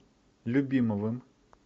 любимовым